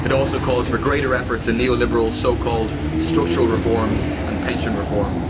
The report also calls for greater efforts on neo liberal so called structural reforms' and pension reform.